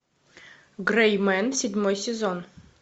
грэй мэн седьмой сезон